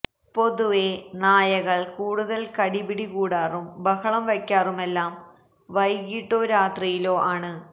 പൊതുവേ നായകള് കൂടുതല് കടി പിടി കൂടാറും ബഹളം വയ്ക്കാറുമെല്ലാം വൈകിട്ടോ രാത്രിയിലോ ആണ്